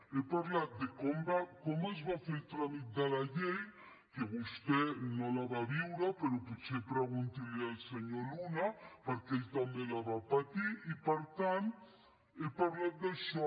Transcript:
he parlat de com es va fer el tràmit de la llei que vostè no la va viure però potser pregunti li ho al senyor luna perquè ell també la va patir i per tant he parlat d’això